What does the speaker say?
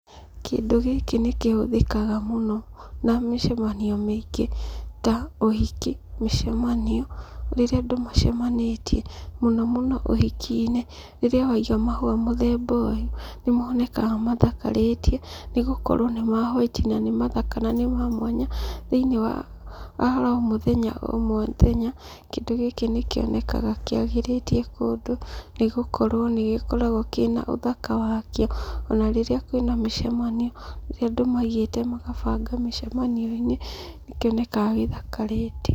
Kĩndũ gĩkĩ nĩ kĩhũthĩkaga mũno na mĩcemanio mĩingĩ ta ũhiki, mĩcemanio. Rĩrĩa andũ macemanĩtie, mũno mũno uhiki-inĩ. Rĩrĩa waiga mahũa mũthemba ũyũ, nĩmonekaga mathakarĩte nĩ gũkorwo nĩ ma white na nĩ mathaka na nĩ ma mwanya. Thĩinĩ wa oromũthenya ũmwe wa ithenya, kĩndũ gĩkĩ nĩ kĩonekaga kĩagĩrĩtie kũndũ nĩ gũkorwo nĩgĩkoragwo kĩna ũthaka wakĩo. Ona rĩrĩa kwĩna mĩcemanio, rĩrĩa andũ maigĩte magabanga mĩcemanio-inĩ, nĩkĩonekaga gĩthakarĩte.